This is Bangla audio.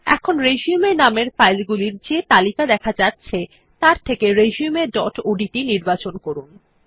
এখন রিসিউম নামের ফাইলগুলির যে তালিকা দেখা যাচ্ছে তার থেকে রিসিউম ডট ওডিটি নির্বাচন করুন